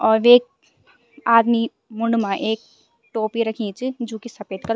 और वेक आदमी मुंड मा एक टोपी रखीं च जू की सपेद कलर --